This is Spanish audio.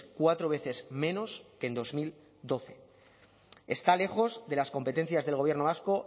cuatro veces menos que en dos mil doce está lejos de las competencias del gobierno vasco